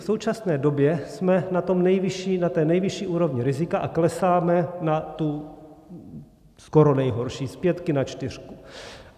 V současné době jsme na té nejvyšší úrovni rizika a klesáme na tu skoro nejhorší, z pětky na čtyřku.